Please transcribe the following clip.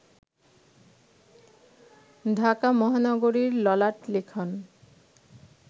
ঢাকা মহানগরীর ললাটলিখন